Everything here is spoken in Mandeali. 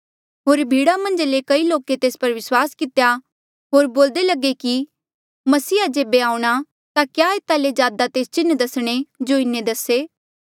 होर भीड़ा मन्झा ले कई लोके तेस पर विस्वास कितेया होर बोल्दे लगे कि मसीहा जेबे आऊंणा ता क्या एता ले ज्यादा तेस चिन्ह दसणे जो इन्हें दसे